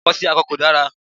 Ìbálòpò akọ sí akọ kò dára.